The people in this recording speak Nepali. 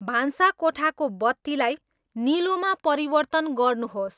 भान्साकोठाको बत्तीलाई निलोमा परिवर्तन गर्नुहोस्